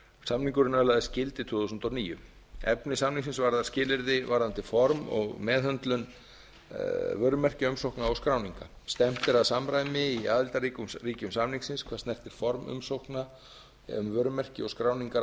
samningurinn öðlaðist gildi árið tvö þúsund og níu efni samningsins var að skilyrði varðandi form og meðhöndlun vörumerkjaumsókna og skráninga stefnt er að samræmi í aðildarríkjum samningsins hvað snertir form umsókna um vörumerki og skráningar